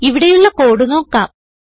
ഇവിടെയുള്ള കോഡ് നോക്കാം